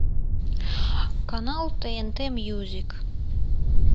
канал тнт мьюзик